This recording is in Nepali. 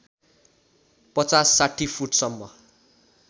५० ६० फुटसम्म